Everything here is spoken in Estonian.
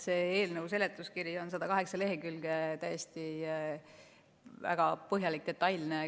Selle eelnõu seletuskiri on 108 lehekülge, väga põhjalik, detailne.